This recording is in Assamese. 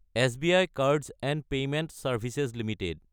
SBI cards & payment services Ltd